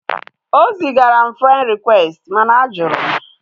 O zigara m frend rịkwesti mana a jụrụ m